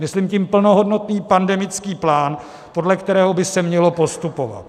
Myslím tím plnohodnotný pandemický plán, podle kterého by se mělo postupovat.